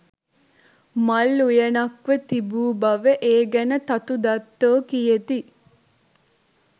මල් උයනක්ව තිබූ බව ඒ ගැන තතු දත්තෝ කියති